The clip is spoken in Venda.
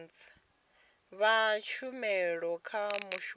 fha tshumelo kha mushumi wa